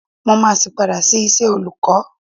Mó máa sì padà sí iṣẹ́ olùkọ́.